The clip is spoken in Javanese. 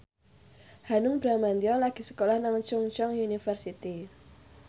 Hanung Bramantyo lagi sekolah nang Chungceong University